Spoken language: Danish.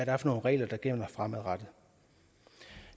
er for nogle regler der gælder fremadrettet